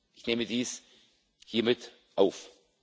Ich nehme dies hiermit auf.